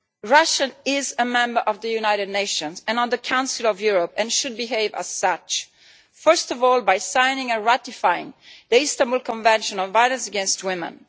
Russia is a member of the United Nations and the Council of Europe, and should behave as such, first of all by signing and ratifying the Istanbul Convention on Violence against Women.